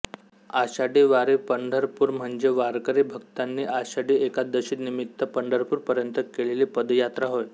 आषाढी वारीपंढरपूर म्हणजे वारकरी भक्तांनी आषाढी एकादशीनिमित्त पंढरपूर पर्यंत केलेली पदयात्रा होय